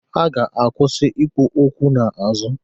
Ha ga-akwụsị ikwu okwu n'azụ.